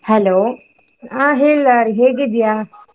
Hello , ಹ ಹೇಳ್ ಲಹರಿ ಹೇಗಿದ್ಯಾ?